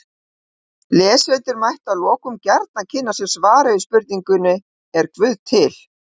Lesendur mættu að lokum gjarnan kynna sér svarið við spurningunni Er guð til?